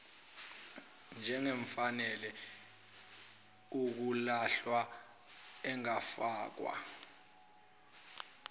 njengefanele ukulahlwa engafakwa